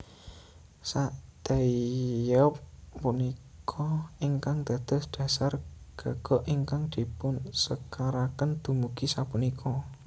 Sakdaeyeob punika ingkang dados dhasar gagok ingkang dipunsekaraken dumugi sapunika